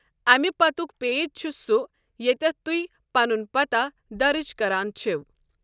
اَمہِ پتُک پیج چھُ سُہ ییٚتٮ۪تھ تُہۍ پنُن پتہ درٕج کران چھِو۔